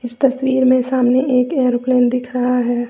तस्वीर में सामने एक एरोप्लेन दिख रहा है।